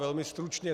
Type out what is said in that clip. Velmi stručně.